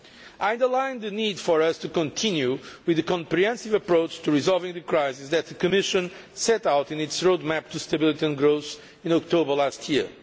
I stressed the need for us to continue with the comprehensive approach to resolving the crisis that the Commission set out in its road map to stability and growth in October last year.